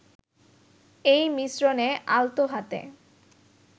এই মিশ্রণে আলতো হাতে